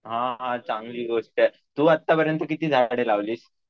हा हा चांगली गोष्ट आहे आहे तू आत्तापर्यंत किती झाडे लावलीस?